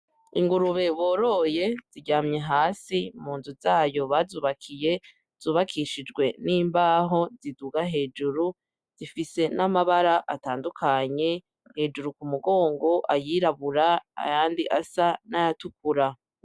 Ingurube boroye ziryamye hasi mu nzu zayo bazubakiye , zubakishijwe n’imbaho ziduga hejuru zifise n’amabara atandukanye hejuru ku mugongo ayirabura ayandi asa n’ayatukura.